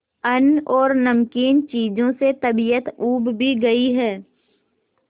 अन्न और नमकीन चीजों से तबीयत ऊब भी गई है